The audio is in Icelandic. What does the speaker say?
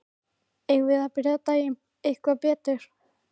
Eigum við að byrja daginn eitthvað betur?